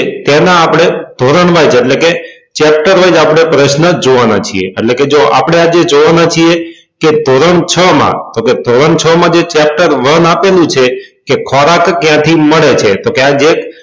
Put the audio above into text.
તેના આપડે ધોરણ wise એટલે કે chapter wise આપડે પ્રહ્ન જોવા ના છીએ એટલે કે જો આજે આપડે જોવા ના છીએ કે ધોરણ છ માં તો કે ધોરણ છ માં જે chapter one આપેલું છે કે ખોરાક ક્યાં થી મળે છે તો ખ્યાલ છે